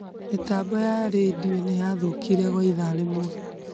Mĩtambo ya redio nĩyathukire kwa ithaa rĩmwe.